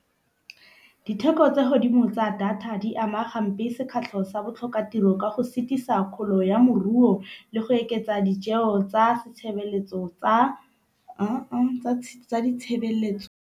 Ditheko tsa godimo tsa data di ama ga mpe sekgatlha sa botlhokatiro ka go setisa kgolo ya moruo le go oketsa ditjeo tsa setshebeletso tsa tsa ditshebeletso.